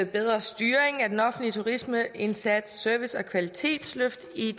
bedre styring af den offentlige turismeindsats service og kvalitetsløft i